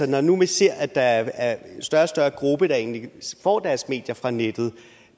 når nu vi ser at der er en større og større gruppe der egentlig får deres medier fra nettet